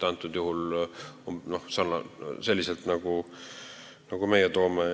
Antud juhul on seal selliselt, nagu meie toome.